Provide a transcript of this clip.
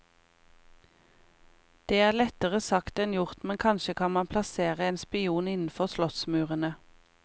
Det er lettere sagt enn gjort, men kanskje kan han plassere en spion innenfor slottsmurene.